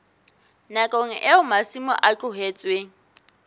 nakong eo masimo a tlohetsweng